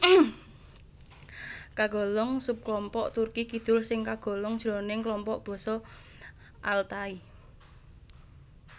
Kagolong subklompok Turki Kidul sing kagolong jroning klompok basa Altai